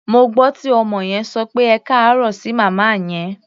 Mo gbọ́ tí ọmọ yẹn sọ pé "ẹkáàárọ̀" sí màmá yẹn.